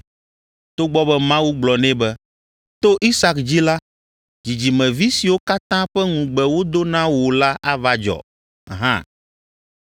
togbɔ be Mawu gblɔ nɛ be, “To Isak dzi la, dzidzimevi siwo katã ƒe ŋugbe wodo na wò la ava dzɔ” hã.